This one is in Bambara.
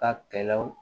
Ka kɛlɛw